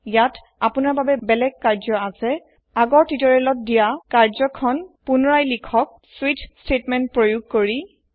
ইয়াত আপুনাৰ বাবে বেলেগ কায্য আছে পুনৰ আগৰ কায্য খন লিখক আগৰ তুতৰিয়েলত দিয়া হৈছে স্বিচ বাক্য প্ৰয়োগ কৰি